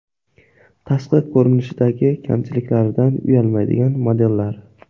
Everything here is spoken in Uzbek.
Tashqi ko‘rinishidagi kamchiliklaridan uyalmaydigan modellar.